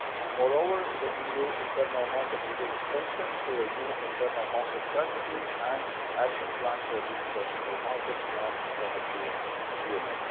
Moreover, the EU Internal Market is being strengthened through a new Internal Market Strategy, and Action Plans for a Digital Single Market and Energy Union.